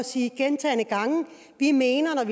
sige gentagne gange vi mener at